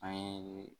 An ye